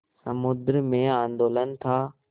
समुद्र में आंदोलन था